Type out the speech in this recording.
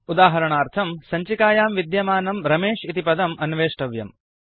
उदाहरणार्थम् सञ्चिकायां विद्यमानं रमेश इति पदम् अन्वेष्टव्यम्